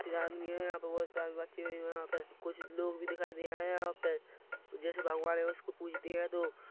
तीन आदमी है यहाँ पे बहोत सारे बच्चे भी है यहाँ पे कुछ लोग भी दिखाई दे रहे है यहाँ पे जेसे भगवान है।